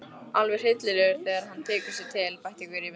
Alveg hryllilegur þegar hann tekur sig til, bætti Gurrý við.